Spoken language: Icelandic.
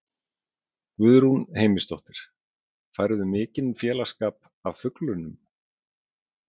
Guðrún Heimisdóttir: Færðu mikinn félagsskap af fuglunum?